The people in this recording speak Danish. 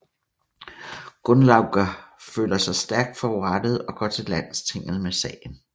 Gunnlaugr føler sig stærkt forurettet og går til landstinget med sagen